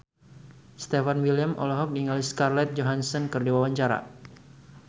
Stefan William olohok ningali Scarlett Johansson keur diwawancara